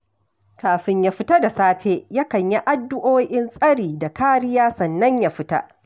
Kafin ya fita da safe, yakan yi addu'o'in tsari da kariya, sannan ya fita